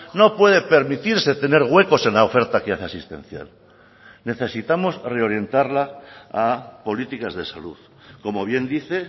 no puede permitirse tener huecos en la oferta que hace asistencial necesitamos reorientarla a políticas de salud como bien dice